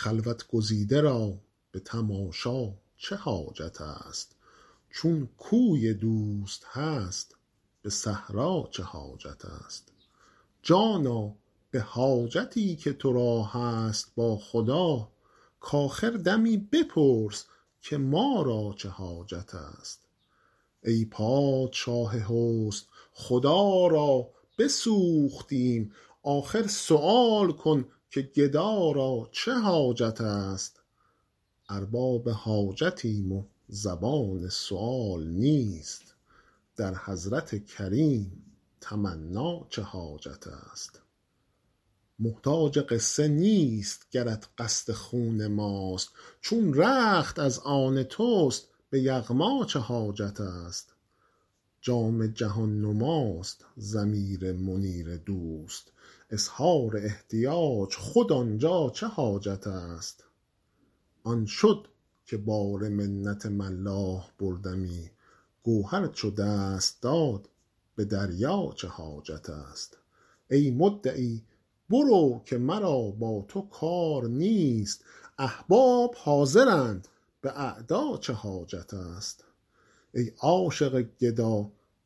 خلوت گزیده را به تماشا چه حاجت است چون کوی دوست هست به صحرا چه حاجت است جانا به حاجتی که تو را هست با خدا کآخر دمی بپرس که ما را چه حاجت است ای پادشاه حسن خدا را بسوختیم آخر سؤال کن که گدا را چه حاجت است ارباب حاجتیم و زبان سؤال نیست در حضرت کریم تمنا چه حاجت است محتاج قصه نیست گرت قصد خون ماست چون رخت از آن توست به یغما چه حاجت است جام جهان نماست ضمیر منیر دوست اظهار احتیاج خود آن جا چه حاجت است آن شد که بار منت ملاح بردمی گوهر چو دست داد به دریا چه حاجت است ای مدعی برو که مرا با تو کار نیست احباب حاضرند به اعدا چه حاجت است